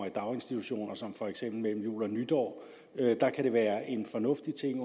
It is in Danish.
i daginstitution som for eksempel mellem jul og nytår kan være en fornuftig ting